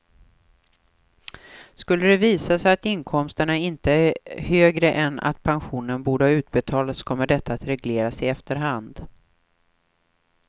Skulle det visa sig att inkomsterna inte är högre än att pension borde ha utbetalats kommer detta att regleras i efterhand.